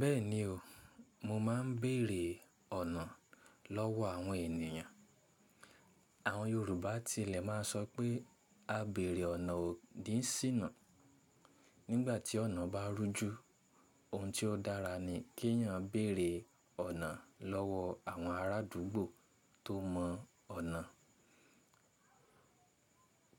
Bẹ́ẹ̀ni o, mo máa ń bèrè ọ̀nà lọ́wọ́ àwọn ènìyàn. Àwọn Yorùbá ti ilẹ̀ máa ń sọ pé "A bèrè ọ̀nà ò kí sínà". Nígbà tí ọ̀nà bá rú jú, ohun tí ó dára ni kí èèyàn béèrè ọ̀nà lọ́wọ́ àwọn arádúgbò tó mọ ọ̀nà.